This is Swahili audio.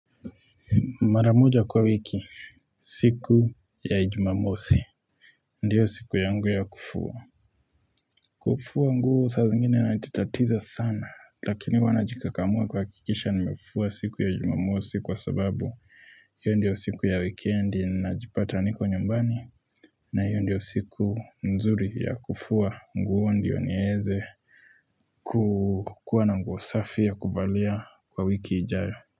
Maramuja kwa wiki siku ya ijimamosi Ndiyo siku ya ngu ya kufuwa Kufuwa ngu saa zingine na ititatiza sana Lakini wanajikakamua kwa kikisha nimefua siku ya ijimamosi kwa sababu hiyo ndiyo siku ya weekendi na jipata niko nyumbani na hiyo ndiyo siku nzuri ya kufuwa ngu ndiyo nieze kukua na nguwa safi ya kubalia kwa wiki ijaya.